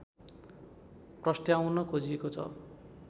प्रस्ट्याउन खोजिएको छ